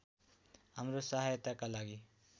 हाम्रो सहायताका लागि